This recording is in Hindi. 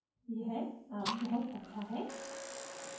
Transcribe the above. यह अब बहुत अच्छा है